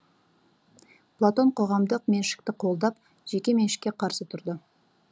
платон қоғамдық меншікті қолдап жеке меншікке қарсы тұрды